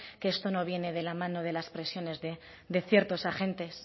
que esto no viene de la mano de las presiones de ciertos agentes